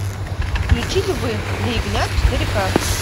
включи львы для ягнят четыре к